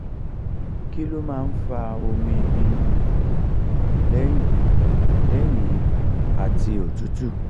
kí ló máa ń fa omi inu àyà lẹ́yìn lẹ́yìn iba ati otutu?